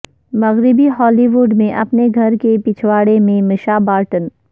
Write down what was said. مغربی Hollywood میں اپنے گھر کے پچھواڑے میں مشا بارٹن